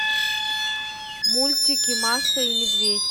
мультики маша и медведь